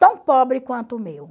tão pobre quanto o meu.